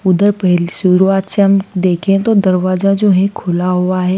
उधर पहल शुरुआत से हम देखे तो दरवाजा जो है खुला हुआ है।